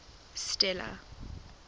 stella